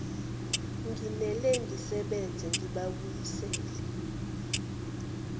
nginele ngisebenze ngibabuyisele